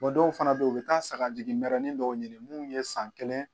dɔw fana be yen u bi taa sagajigimɛrɛnnin dɔw ɲini mun ye san kelen